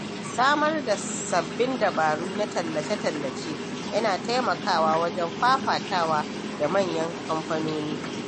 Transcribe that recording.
Samar da sabbin dabaru na tallace-tallace yana taimakawa wajen fafatawa da manyan kamfanoni.